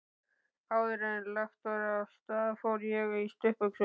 Áðuren lagt var af stað fór ég í stuttbuxur.